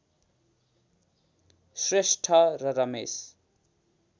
श्रेष्ठ र रमेश